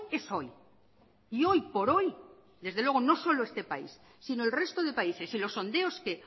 es hoy y hoy por hoy desde luego no solo este país sino el resto de países y los sondeos que